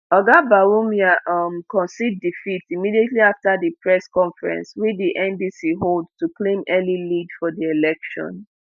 oga bawumia um concede defeat immediately afta di press conference wey di ndc hold to claim early lead for di election.